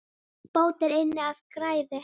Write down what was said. Bót er inn af græði.